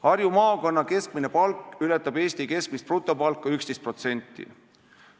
Harju maakonna keskmine palk ületab Eesti keskmist brutopalka 11%.